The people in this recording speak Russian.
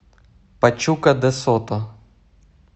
пачука де сото